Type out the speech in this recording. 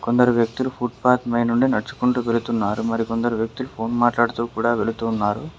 కొందరు వ్యక్తులు ఫుట్పాత్ పై నుండి నడుచుకుంటూ వెళుతున్నారు మరికొందరు వ్యక్తులు ఫోన్ మాట్లాడుతూ కూడా వెళుతున్నారు.